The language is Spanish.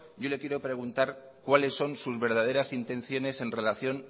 yo le quiero preguntar cuáles son sus verdaderas intenciones en relación